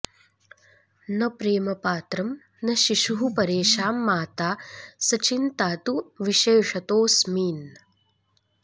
न प्रेमपात्रं न शिशुः परेषां माता सचिन्ता तु विशेषतोऽस्मिन्